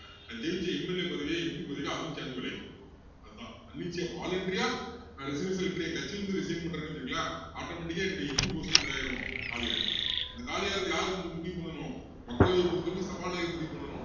நான் ஜெயிச்ச MLA பதவியோ MP பதவியோ அதுவும் சேர்ந்து அதான் தன்னிச்சையா voluntary ஆ நான் resignation letter என் கட்சியை வந்து resign பண்றேன்னு வச்சிக்கோங்களேன் automatic ஆ என்னுடைய MP post உம் என்னது ஆயிரும் காலியாயிடும் அந்த காலியாகுறத யாரு முடிவு பண்ணணும் மக்களவையை பொறுத்த வரைக்கும் சபாநாயகர் முடிவு பண்ணணும்